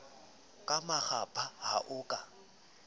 ka makgapha ha o ka